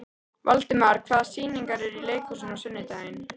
Valdimar, hvaða sýningar eru í leikhúsinu á sunnudaginn?